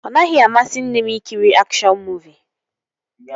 Ọ naghị amasị nne m ị kiri akshọn muuvi